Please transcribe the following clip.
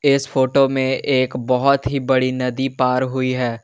इस फोटो में एक बहोत ही बड़ी नदी पार हुई है।